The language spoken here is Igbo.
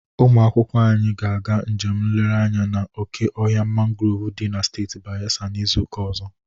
Ụmụ akwụkwọ anyị ga-aga njem nlere anya na oke ọhịa mangrov dị na steeti Bayelsa na izuụka ọzọ